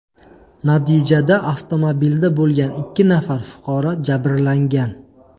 Natijada avtomobilda bo‘lgan ikki nafar fuqaro jabrlangan.